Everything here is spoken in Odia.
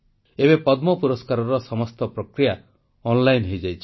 ଏବେ ପଦ୍ମ ପୁରସ୍କାରର ସମସ୍ତ ପ୍ରକ୍ରିୟା ଅନଲାଇନ ହୋଇଯାଇଛି